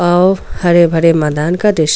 हरे भरे मैदान का दृश्य --